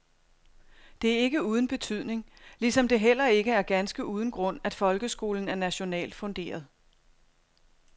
Det er ikke uden betydning, ligesom det heller ikke er ganske uden grund, at folkeskolen er nationalt funderet.